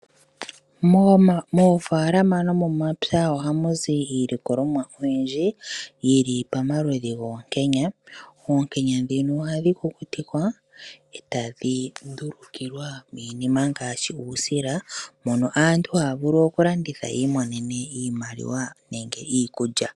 Moofaalama nomomapya ohamuzi iilikolomwa oyindji yili pamaludhi goonkenya. Oonkenya dhino ohadhi kukutikwa e tadhi ndulukilwa miinima ngaashi uusila mono aantu haya vulu okuladnitha yiimonene iimaliwa nenge iikulya.